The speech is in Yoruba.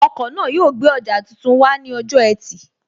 Ọkọ̀ náà yóò gbé ọjà tuntun wá ní ọjọ́ ẹtì